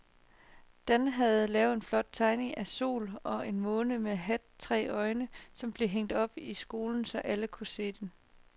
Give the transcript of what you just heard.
Dan havde lavet en flot tegning af en sol og en måne med hat og tre øjne, som blev hængt op i skolen, så alle kunne se den.